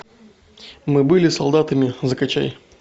мы были солдатами закачай